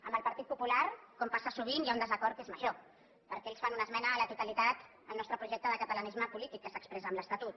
amb el partit popular com passa sovint hi ha un desacord que és major perquè ells fan una esmena a la totalitat al nostre projecte de catalanisme polític que s’expressa amb l’estatut